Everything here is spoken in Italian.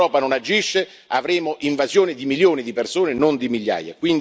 Se l'Europa non agisce avremo un'invasione di milioni di persone, non di migliaia.